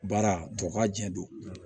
Baara tɔ kaa jɛ don